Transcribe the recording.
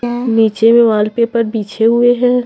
नीचे में वॉलपेपर पीछे हुए हैं।